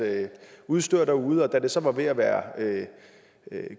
udstyr derude og da det så var ved at være